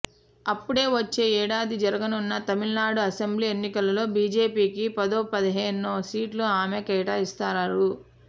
అప్పుడే వచ్చే ఏడాది జరగనున్న తమిళనాడు అసెంబ్లీ ఎన్నికలలో బీజేపీకి పదోపదిహేనో సీట్లు ఆమె కేటాయిస్తారు